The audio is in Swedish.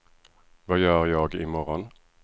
vad gör jag imorgon